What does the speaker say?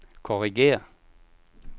korrigér